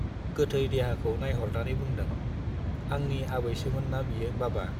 गोथै देहाखौ नाइहरनानै बुंदों, आंनि आबैसोमोन ना बियो बाबा ?